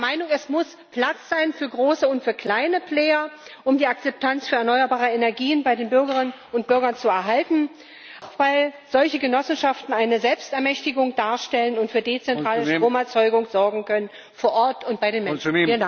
Wir sind der Meinung, es muss Platz sein für große und für kleine Player um die Akzeptanz für erneuerbare Energien bei den Bürgerinnen und Bürgern zu erhalten, auch weil solche Genossenschaften eine Selbstermächtigung darstellen und für dezentrale Stromerzeugung sorgen können vor Ort und bei den Menschen.